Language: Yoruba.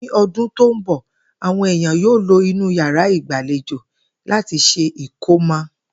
Ní o̩dún tó ń bò̩, àwo̩n èèyàn yóò lo inú yàrá ìgbàlejo láti s̩e ìkómo̩